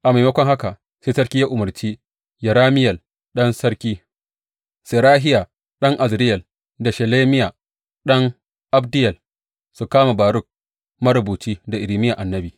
A maimakon haka, sai sarki ya umarci Yerameyel ɗan sarki, Serahiya ɗan Azriyel da Shelemiya ɗan Abdeyel su kama Baruk marubuci da Irmiya annabi.